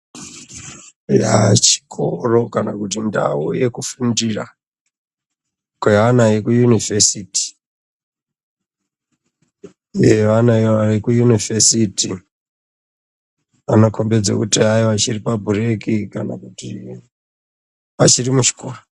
Eya chikoro kana kuti ndau yekufundira kwevana veku yunivhesiti nevana veku yunivhesiti vanokombedza kuti ayiwa chiripa bhureki kana kuti vachirimuchikoro.